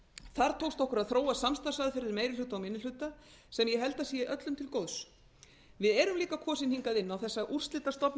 þar tókst okkur að þróa samstarfsaðferðir meiri hluta og minni hluta sem ég held að sé öllum til góðs við erum líka kosin hingað inn á þessa úrslitastofnun